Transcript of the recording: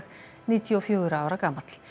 níutíu og fjögurra ára gamall